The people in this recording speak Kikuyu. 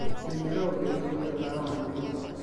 menyerera ũtherĩ horĩa tawa wa nyũmba